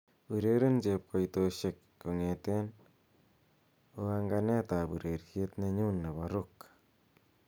ureren chepokoitosiek kongeten oanganet ab ureryet nenyun nepo rock